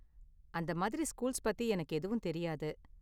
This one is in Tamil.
அந்த மாதிரி ஸ்கூல்ஸ் பத்தி எனக்கு எதுவும் தெரியாது.